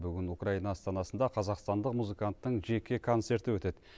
бүгін украина астанасында қазақстандық музыканттың жеке концерті өтеді